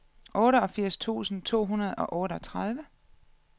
otteogfirs tusind to hundrede og otteogtredive